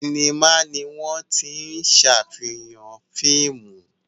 Sinimá ni wọ́n tí ń ṣàfihàn fíìmù